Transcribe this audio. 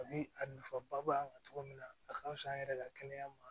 A bi a nafaba b'a la cogo min na a ka fisa an yɛrɛ ka kɛnɛya ma